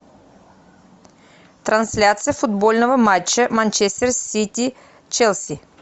трансляция футбольного матча манчестер сити челси